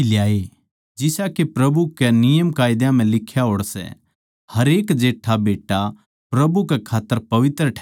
जिसा के प्रभु के नियमकायदा म्ह लिख्या होड़ सै हरेक जेट्ठा बेट्टा प्रभु कै खात्तर पवित्र ठहरैगा